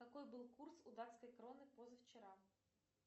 какой был курс у датской кроны позавчера